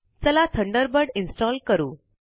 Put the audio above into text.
चला Thunderbird install करू